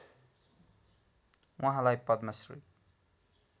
उहाँलाई पद्म श्री